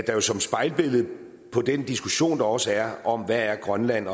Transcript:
jo som spejlbillede på den diskussion der også er om hvad grønland